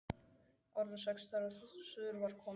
Orðin sex þegar suður var komið.